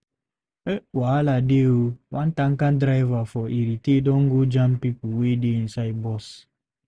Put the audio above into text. Wahala dey o! One tanker driver for Irete don go jam pipo wey dey inside bus.